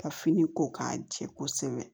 Ka fini ko k'a jɛ kosɛbɛ